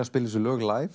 spila þessi lög